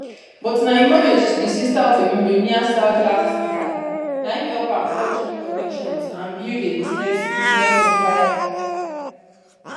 but na im marriage to di sister of a millionaire saudi arms dealer na in help am forge new connections and build a business business empire